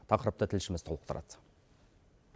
тақырыпты тілшіміз толықтырады